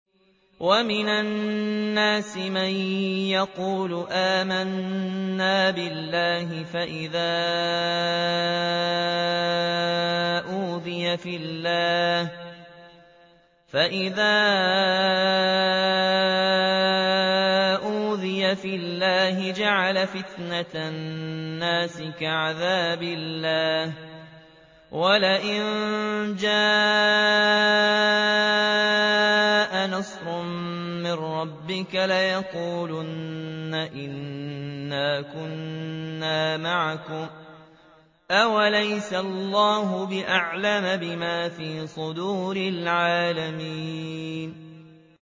وَمِنَ النَّاسِ مَن يَقُولُ آمَنَّا بِاللَّهِ فَإِذَا أُوذِيَ فِي اللَّهِ جَعَلَ فِتْنَةَ النَّاسِ كَعَذَابِ اللَّهِ وَلَئِن جَاءَ نَصْرٌ مِّن رَّبِّكَ لَيَقُولُنَّ إِنَّا كُنَّا مَعَكُمْ ۚ أَوَلَيْسَ اللَّهُ بِأَعْلَمَ بِمَا فِي صُدُورِ الْعَالَمِينَ